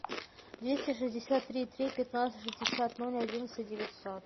двести шестьдесят три три пятнадцать шестьдесят ноль одиннадцать девятьсот